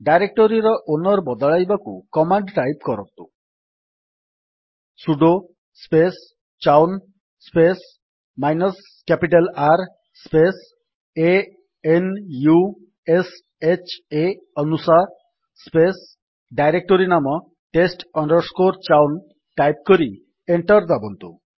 ଡାଇରେକ୍ଟୋରୀର owner ବଦଳାଇବାକୁ command type କରନ୍ତୁ sudo space chown space minus capital R space a n u s h ଆ ଅନୁଶା space directory ନାମ test chown type କରି enter ଦାବନ୍ତୁ